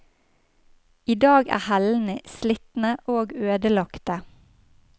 I dag er hellene slitne og ødelagte.